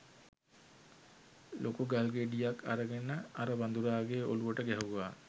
ලොකු ගල්ගෙඩියක් අරගෙන අර වඳුරාගේ ඔළුවට ගැහුවා.